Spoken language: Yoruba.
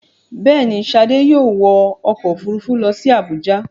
Bẹ́ẹ̀ ni, Ṣadé yóò wọ ọkọ̀-òfurufú lọ sí Àbújá.